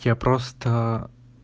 я просто